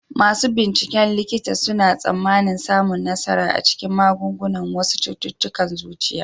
Masu binciken likita suna tsammanin samun nasara a cikin maganin wasu cututtukan zuciya.